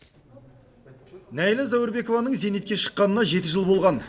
нәйлә зәуірбекованың зейнетке шыққанына жеті жыл болған